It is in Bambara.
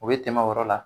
O bɛ tɛmɛ o yɔrɔ la